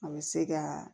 A bɛ se ka